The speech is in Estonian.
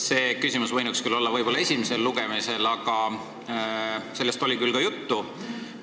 Selle küsimuse võinuks esitada võib-olla esimesel lugemisel, sellest oli siis küll ka juttu.